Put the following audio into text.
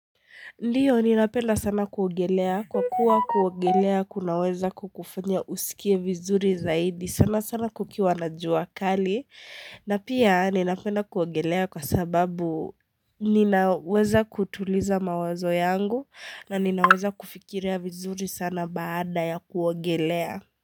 Ndiyo ninapenda sana kuogelea kwa kuwa kuogelea kunaweza kukufanya usikie vizuri zaidi sana sana kukiwa na jua kali na pia ninapenda kuogelea kwa sababu ninaweza kutuliza mawazo yangu na ninaweza kufikirea vizuri sana baada ya kuogelea.